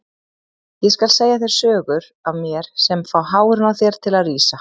Ég skal segja þér sögur af mér sem fá hárin á þér til að rísa.